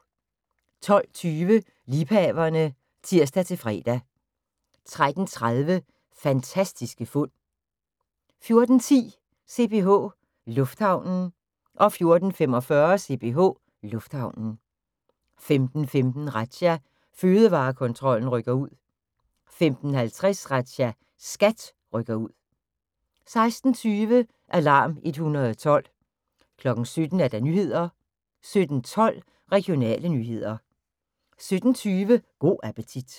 12:20: Liebhaverne (tir-fre) 13:30: Fantastiske fund 14:10: CPH Lufthavnen 14:45: CPH Lufthavnen 15:15: Razzia – Fødevarekontrollen rykker ud 15:50: Razzia – SKAT rykker ud 16:20: Alarm 112 17:00: Nyhederne 17:12: Regionale nyheder 17:20: Go' appetit